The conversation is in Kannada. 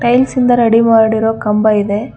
ಟೈಲ್ಸ್ ಇಂದ ರಡಿ ಮಾಡಿರೋ ಕಂಬ ಇದೆ.